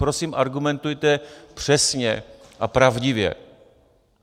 Prosím, argumentujte přesně a pravdivě.